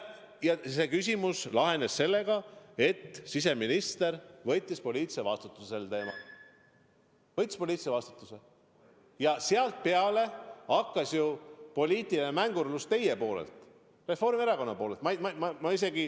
Ja see küsimus lahenes sellega, et siseminister võttis poliitilise vastutuse, aga sealtpeale algas poliitiline mängurlus teie poolt, Reformierakonna poolt.